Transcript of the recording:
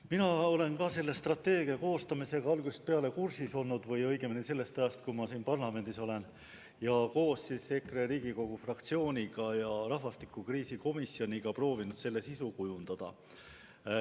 Ka mina olen selle strateegia koostamisega algusest peale kursis olnud, õigemini küll sellest ajast, kui ma siin parlamendis olen olnud, ning koos EKRE fraktsiooni ja rahvastikukriisi lahendamise probleemkomisjoniga proovinud selle sisu kujundada.